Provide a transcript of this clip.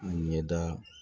Ɲɛda